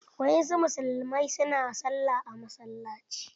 Wasu musulmai na sallah a masalaci.